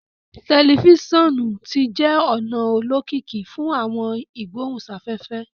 Telifisonu ti jẹ ona olokiki fun awọn igbohunsafefe